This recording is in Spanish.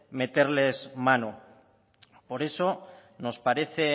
meterles mano por eso nos parece